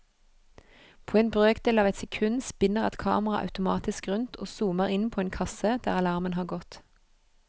På en brøkdel av et sekund spinner et kamera automatisk rundt og zoomer inn på en kasse der alarmen har gått.